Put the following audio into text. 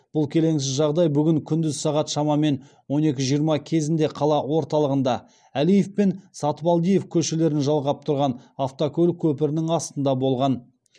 бұл келеңсіз жағдай бүгін күндіз сағат шамамен он екі жиырма кезінде қала орталығында әлиев пен сатыбалдиев көшелерін жалғап тұрған автокөлік көпірінің астында болған